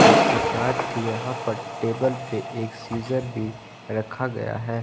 इसके साथ ही यहां पर टेबल पे एक सीजर भी रखा गया है।